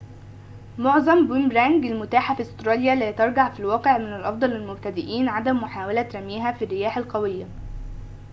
معظم بوميرانج المتاحة في أستراليا لا ترجع في الواقع من الأفضل للمبتدئين عدم محاولة رميها في الرياح القوية